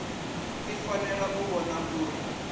i fanela u vhona uri